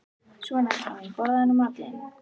Svona, elskan mín, borðaðu nú matinn þinn.